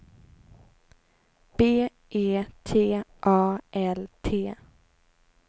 B E T A L T